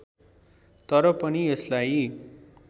तर पनि यसलाई